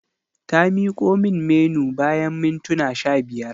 Ta miko min Menu bayan mintuna sha biyar.